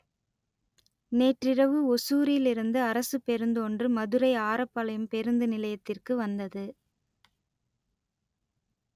நேற்றிரவு ஒசூரில் இருந்து அரசுப் பேருந்து ஒன்று மதுரை ஆரப்பாளையம் பேருந்து நிலையத்திற்கு வந்தது